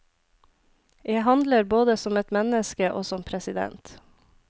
Jeg handler både som et menneske og som president.